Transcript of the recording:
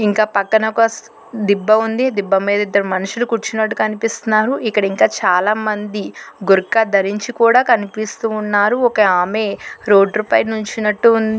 ఇంకా పక్కన ఒక దిబ్బ ఉంది దిబ్బ మీద ఇద్దరు మనుషులు కూర్చునట్టుగా కనిపిస్తున్నారు ఇక్కడ ఇంకా చాలా మంది బుర్కా ధరించి కూడా కనిపిస్తూ ఉన్నారు ఒక ఆమే రోడ్డు పై నించునట్టు ఉంది.